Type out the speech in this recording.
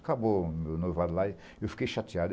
Acabou o meu noivado lá e eu fiquei chateado.